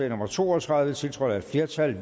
nummer to og tredive tiltrådt af et flertal